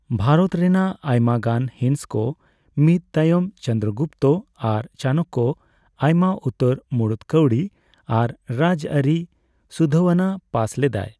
ᱵᱷᱟᱨᱚᱛ ᱨᱮᱱᱟᱜ ᱟᱭᱢᱟ ᱜᱟᱱ ᱦᱤᱥ ᱠᱚ ᱢᱤᱫ ᱛᱟᱭᱚᱢ ᱪᱚᱱᱫᱨᱚᱜᱩᱯᱛ ᱟᱨ ᱪᱟᱱᱚᱠᱚ ᱟᱭᱢᱟ ᱩᱛᱟᱹᱨ ᱢᱩᱲᱩᱛ ᱠᱟᱹᱣᱰᱤ ᱟᱨ ᱨᱟᱡᱽᱟᱹᱨᱤ ᱥᱩᱫᱷᱟᱹᱣᱱᱟ ᱯᱟᱥ ᱞᱮᱫᱟᱭ᱾